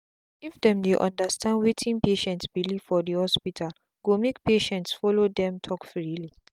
if them dey understand wetin patient belief for the hospitale go make patients follow them talk freely.